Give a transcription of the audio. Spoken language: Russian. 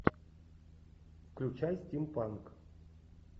включай стимпанк